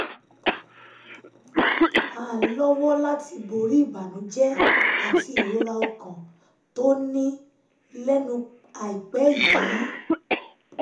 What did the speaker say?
án lọ́wọ́ láti borí ìbànújẹ́ àti ìrora ọkàn tó ní um lẹ́nu um um àìpẹ́ yìí